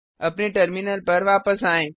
अपने टर्मिनल पर वापस आएँ